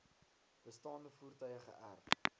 bestaande voertuie geërf